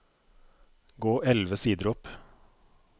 Gå elleve sider opp